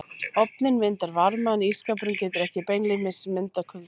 Ofninn myndar varma en ísskápurinn getur ekki beinlínis myndað kulda.